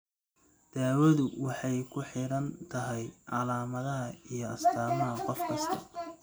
Daawadu waxay ku xidhan tahay calaamadaha iyo astaamaha qof kasta.